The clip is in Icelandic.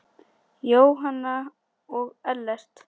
Jóhanna og Ellert.